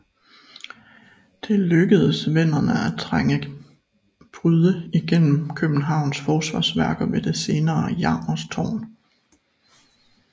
Det lykkedes venderne at trænge bryde igennem Københavns forsvarsværker ved det senere Jarmers Tårn